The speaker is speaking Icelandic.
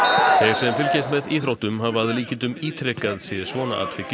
sem fylgjast með íþróttum hafa að líkindum ítrekað séð svona atvik